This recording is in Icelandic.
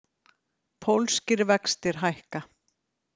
Pólskir vextir hækka